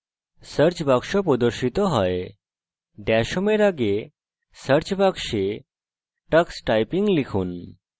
search box প্রদর্শিত হয় dash home in আগে search box tux typing লিখুন